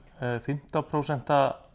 fimmtán prósent